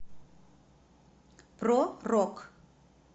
про рок